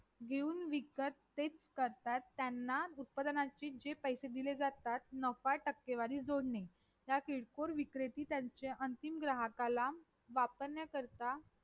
घेऊन विकत तेच करतात त्यांना उत्पादनाचे जे पैसे दिले जातात नफा टकेवारी जोडणे ते किरकोळ विक्रते त्याच्या अंतिम ग्राहकांना वापर ना करतात